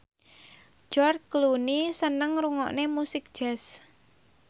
George Clooney seneng ngrungokne musik jazz